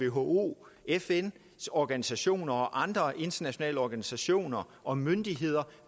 who fns organisationer og andre internationale organisationer og myndigheder